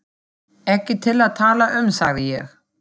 Ekki til að tala um, sagði ég.